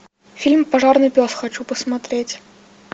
фильм пожарный пес хочу посмотреть